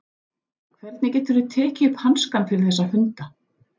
Hvernig geturðu tekið upp hanskann fyrir þessa hunda?